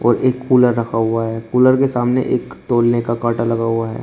और एक कूलर रखा हुआ है। कूलर के सामने एक तौलने का कांटा लगा हुआ है।